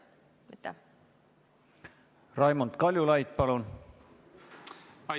Raimond Kaljulaid, palun!